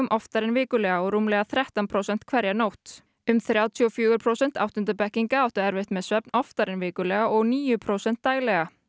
oftar en vikulega og rúmlega þrettán prósent hverja nótt um þrjátíu og fjögur prósent áttundu bekkinga áttu erfitt með svefn oftar en vikulega og um níu prósent daglega